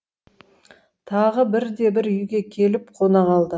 тағы бірде бір үйге келіп қона қалды